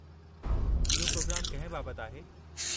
इहो प्रोग्रामु कंहिं बाबतु आहे?